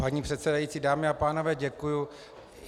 Paní předsedající, dámy a pánové, děkuji.